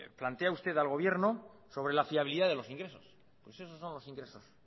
plantea usted al gobierno sobre la fiabilidad de los ingresos pues esos son los ingresos